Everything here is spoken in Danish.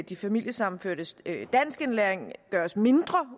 de familiesammenførtes danskindlæring gøres mindre